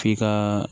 F'i ka